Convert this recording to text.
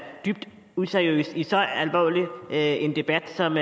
dybt useriøst i så alvorlig en debat som